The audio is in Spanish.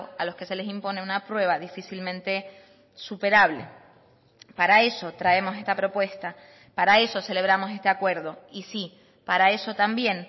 a los que se les impone una prueba difícilmente superable para eso traemos esta propuesta para eso celebramos este acuerdo y sí para eso también